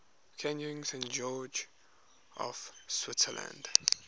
canyons and gorges of switzerland